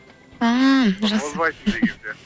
ммм жақсы озбайсың деген сияқты